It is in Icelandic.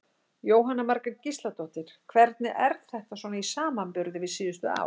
Jóhanna Margrét Gísladóttir: Hvernig er þetta svona í samanburði við síðustu ár?